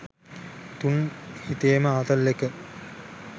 තුන් හිතේම ආතල් එක